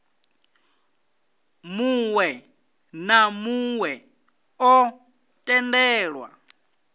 muwe na muwe o tendelwa